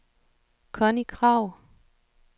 Connie Kragh